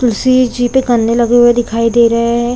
तुलसी जी पे गन्ने लगे हुए दिखाई दे रहे है ।